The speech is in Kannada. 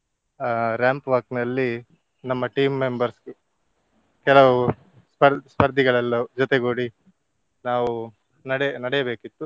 ಅಹ್ ramp walk ನಲ್ಲಿ ನಮ್ಮ team members ಕೆಲವು ಸ್ಪ~ ಸ್ಪರ್ಧಿಗಳೆಲ್ಲ ಜೊತೆಗೂಡಿ ನಾವು ನಡೆ ನಡೆಯಬೇಕಿತ್ತು.